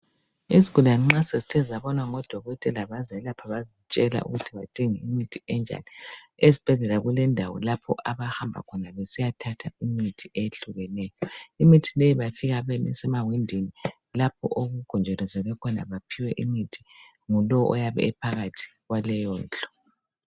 Izigulane nxa sezithe zabonwa ngodokotela bazelapha bazitshela ukuthi badinge imithi enjani esibhedlela kulendawo lapho abahamba khona besiya thatha imuthi eyehlukeneyo imithi leyo bafika besima ewindini lapho okugonjolozelwe khona baphiwe imithi ngulowo oyabe ephakathi kwaleyondlu